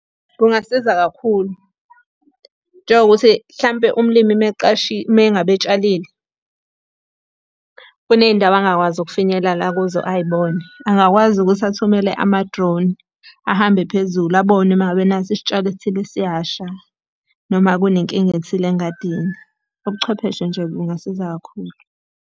Kungasiza kakhulu. Njengokuthi hlampe umlimi uma eqashile, uma ngabe etshalile, kuney'ndawo angakwazi ukufinyelela kuzo ay'bone. Angakwazi ukuthi athumele ama-drone, ahambe phezulu abone uma ngabe nasi isitshalo esithile siyasha noma kune nkinga ethile engadingi. Ubuchwepheshe nje bungasiza kakhulu.